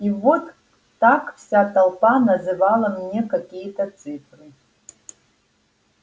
и вот так вся толпа называла мне какие-то цифры